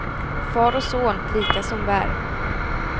Far och son, lika som bär.